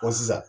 sisan